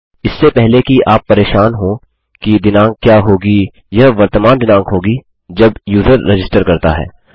इससे पहले कि आप परेशान हों कि दिनाँक क्या होगी यह वर्तमान दिनाँक होगी जब यूज़र रजिस्टर करता है